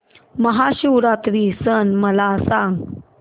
महाशिवरात्री सण मला सांग